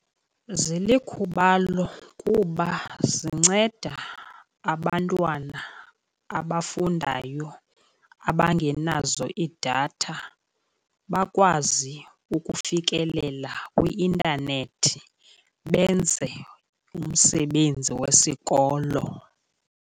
Zilikhubalo kuba zinceda abantwana abafundayo abangenazo iidatha bakwazi ukufikelela kwi-intanethi benze umsebenzi wesikolo.